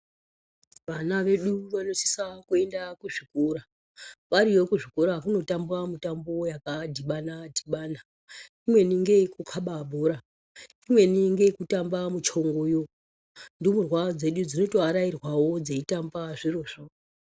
Vana vedu vanosisa kuenda kuzvikora, variyo kuzvikora kunotambwa mitombo yakadhibana-dhibana. Imweni ngeyekukaba bhora, imweni ngeyekutamba muchongoyo. Ndumurwa dzedu dzinotoarairwawo dzeitamba zvirozvo.